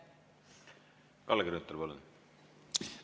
Kalle Grünthal, palun!